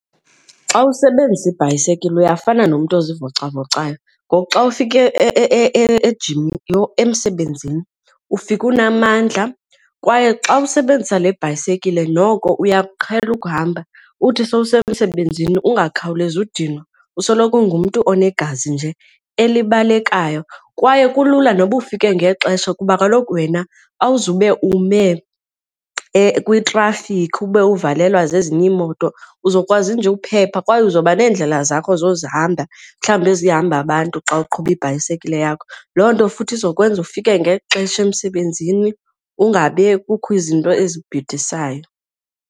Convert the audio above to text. Xa usebenzisa ibhayisekile uyafana nomntu ozivocavocayo ngoku xa ufika , yho, emsebenzini ufika unamandla kwaye xa usebenzisa le bhayisekile noko uyakuqhela ukuhamba. Uthi sowusemsebenzini ungakhawulezi udinwa, usoloko ungumntu onegazi nje elibalekayo. Kwaye kulula noba ufike ngexesha kuba kaloku wena awuzube ume kwitrafikhi ube uvalelwa zezinye iimoto uzokwazi nje ukuphepha kwaye uzoba neendlela zakho ozozohamba mhlawumbi ezihamba abantu xa uqhuba ibhayisekile yakho. Loo nto futhi izokwenza ufike ngexesha emsebenzini ungabe kukho izinto ezibhidisayo.